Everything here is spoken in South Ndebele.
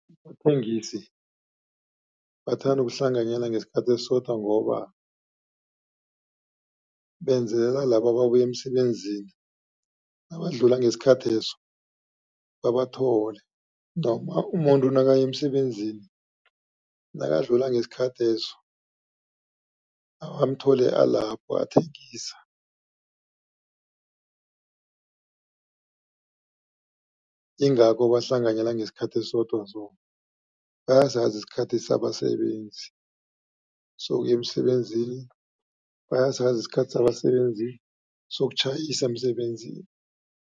Abathengisi bathanda ukuhlanganyela ngesikhathi esisodwa, ngoba benzela laba ababuya emsebenzini, nabadlula ngesikhatheso babathole noma umuntu nakaya emsebenzini, nakadlula ngesikhatheso amthole alapho athengisa. Ingakho bahlanganyela ngesikhathi esisodwa so, bayasazi isikhathi sabasebenzi sokuya emsebenzini, bayasazi isikhathi sabasebenzi sokutjhayisa emsebenzini.